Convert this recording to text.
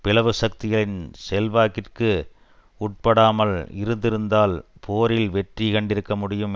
பிளவு சக்திகளின் செல்வாக்கிற்கு உட்படாமல் இருந்திருந்தால் போரில் வெற்றி கண்டிருக்க முடியும்